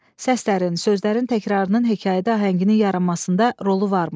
Səslərin, sözlərin təkrarının hekayədə ahənginin yaranmasında rolu varmı?